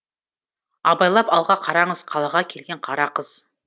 абайлап алға қараңыз қалаға келген қара қыз